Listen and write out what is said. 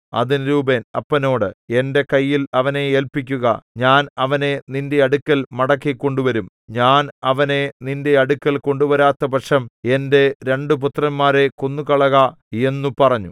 അതിന് രൂബേൻ അപ്പനോട് എന്റെ കയ്യിൽ അവനെ ഏല്പിക്കുക ഞാൻ അവനെ നിന്റെ അടുക്കൽ മടക്കി കൊണ്ടുവരും ഞാൻ അവനെ നിന്റെ അടുക്കൽ കൊണ്ടുവരാത്തപക്ഷം എന്റെ രണ്ടു പുത്രന്മാരെ കൊന്നുകളക എന്നു പറഞ്ഞു